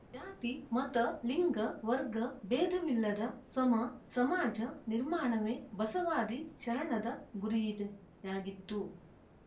ಜಾತಿ ಮತ ಲಿಂಗ ವರ್ಗ ಬೇಧವಿಲ್ಲದ ಸಮ ಸಮಾಜ ನಿರ್ಮಾಣವೇ ಬಸವಾದಿ ಶರಣದ ಗುರಿಯಾಗಿತ್ತು